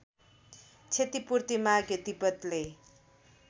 क्षतिपूर्ति माग्यो तिब्बतले